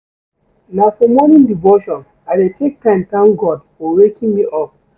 Na for morning devotion I dey take time tank God for waking me up.